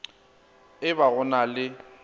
e ba go na le